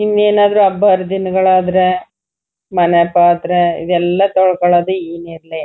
ಇನ್ ಏನಾದ್ರು ಹಬ್ಬ ಹರಿದಿನದಗಳ್ ಆದ್ರೆ ಮನೆ ಪಾತ್ರೆ ಇವು ಎಲ್ಲ ತೊಳ್ಕೊಳೋದು ಈ ನೀರಲ್ಲೇ--